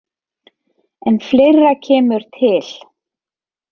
En fleira kemur til.